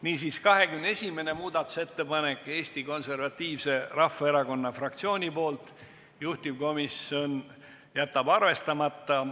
Niisiis, 21. muudatusettepanek on Eesti Konservatiivse Rahvaerakonna fraktsioonilt, juhtivkomisjon jätab selle arvestamata.